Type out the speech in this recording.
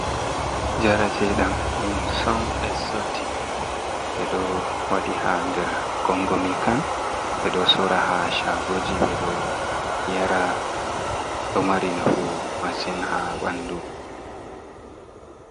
Jare tedam, dum son esotic be do wadi ha nder gongomican, be do sora ha shagoji, be do yara do mari nafu masin ha bandu.